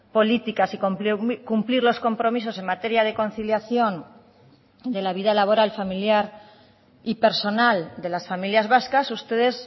políticas y cumplir los compromisos en materia de conciliación de la vida laboral familiar y personal de las familias vascas ustedes